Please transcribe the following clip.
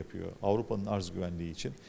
Avropanın təminat təhlükəsizliyi üçün.